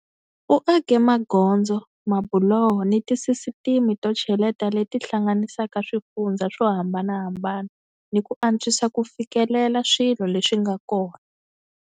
U ake magondzo, mabuloho ni tisisiteme to cheleta leti hlanganisaka swifundzha swo hambanahambana ni ku antswisa ku fikelela swilo leswi nga kona.